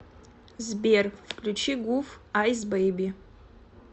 сбер включи гуф айс бэйби